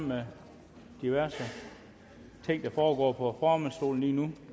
med diverse ting der foregår på formandsstolen lige nu